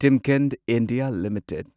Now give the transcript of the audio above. Timken India limited